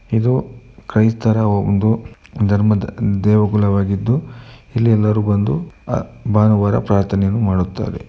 ಇದು ಕ್ರೈಸ್ತರ ಒಂದು ಧರ್ಮದ ದೇವಗುಳವಾಗಿದ್ದು ಇಲ್ಲಿ ಎಲ್ಲಾರು ಬಂದು ಭಾನುವಾರ ಪ್ರಾರ್ಥನೆಯನ್ನು ಮಾಡುತ್ತಾರೆ.